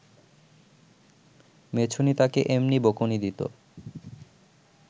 মেছুনী তাকে এমনি বকুনি দিত